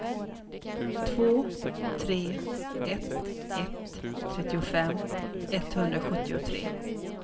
två tre ett ett trettiofem etthundrasjuttiotre